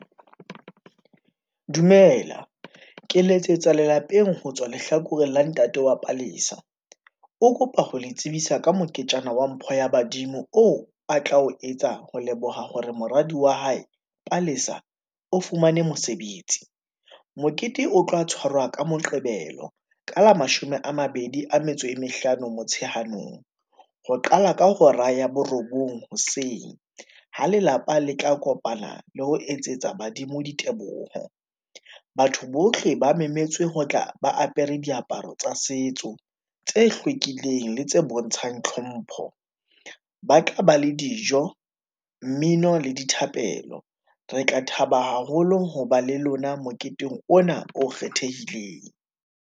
Dumela, ke letsetsa lelapeng ho tswa lehlakore la ntate wa Palesa, o kopa ho le tsebisa ka moketjana wa mpho ya badimo oo a tla o etsa ho leboha hore moradi wa hae Palesa o fumane mosebetsi. Mokete o tloha tshwarwa ka moqebelo ka la mashome a mabedi a metso e mehlano Motsheanong. Ho qala ka hora ya borobong hoseng ho lelapa le tla kopana le ho etsetsa badimo diteboho. Batho bohle ba memetse ho tla ba apere diaparo tsa setso, tse hlwekileng le tse bontshang tlhompho, ba tla ba le dijo, mmino le dithapelo. Re tla thaba haholo ho ba le lona moketeng ona o kgethehileng.